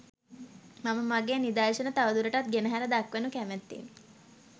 මම මගේ නිදර්ශන තවදුරටත් ගෙනහැර දක්වනු කැමැත්තෙමි